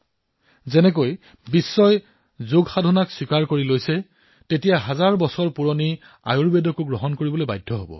যিদৰে বিশ্বই যোগৰ মহত্ব স্বীকাৰ কৰি লৈছে ঠিক সেইদৰে সহস্ৰ বৰ্ষ পুৰণি আমাৰ আয়ুৰ্বেদৰ সিদ্ধান্তসমূহকো বিশ্বই নিশ্চয় স্বীকাৰ কৰিব